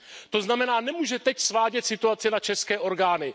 To znamená, že nemůže teď svádět situaci na české orgány.